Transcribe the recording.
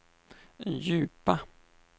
djupa